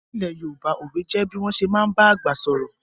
Ní ilẹ̀ Yorùbá, òwe jẹ bí wọ́n ṣé máa ń ba àgbà sọ̀rọ̀